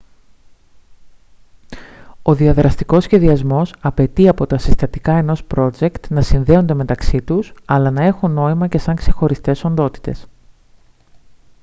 ο διαδραστικός σχεδιασμός απαιτεί από τα συστατικά ενός πρότζεκτ να συνδέονται μεταξύ τους αλλά να έχουν νόημα και σαν ξεχωριστές οντότητες